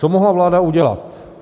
Co mohla vláda udělat?